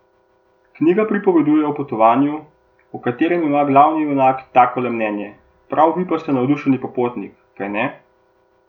Knjiga pripoveduje o potovanju, o katerem ima glavni junak takole mnenje, prav vi pa ste navdušeni popotnik, kajne?